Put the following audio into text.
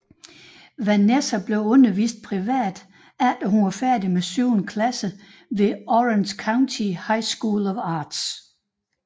Vanessa blev undervist privat efter hun var færdig med syvende klasse hos Orange County High School of Arts